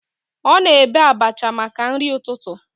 Ọ na-ebe abacha maka nri ụtụtụ